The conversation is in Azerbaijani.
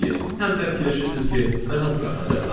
Həm də fikirləşirsiz ki, rahat buraxacaqlar?